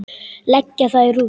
Leggja það í rúst!